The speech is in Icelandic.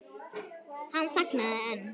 Hann þagnaði en